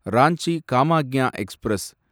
Ranchi Kamakhya express